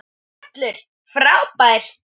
Völlur frábær.